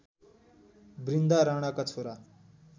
बृन्दा राणाका छोरा